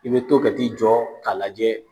I bɛ to ka t'i jɔ k'a lajɛ